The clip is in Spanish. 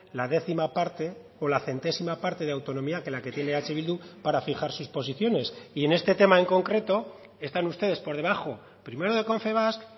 la décima parte o la centésima parte de autonomía que la que tiene eh bildu para fijar sus posiciones y en este tema en concreto están ustedes por debajo primero de confebask